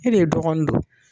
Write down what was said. E de dɔgɔnin don